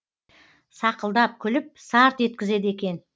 сақылдап күліп сарт еткізеді екен